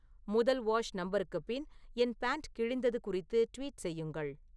முதல் வாஷ் நம்பருக்கு பின் என் பேன்ட் கிழிந்தது குறித்து ட்வீட் செய்யுங்கள்